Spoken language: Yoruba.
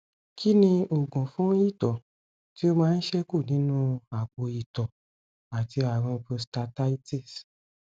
kí ni oògùn fún ito ti o man seku nínú apo ito àti àrùn prostatitis